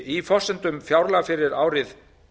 í forsendum fjárlaga fyrir árið